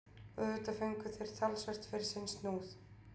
Og auðvitað fengu þeir talsvert fyrir sinn snúð.